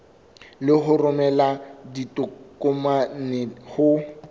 le ho romela ditokomane ho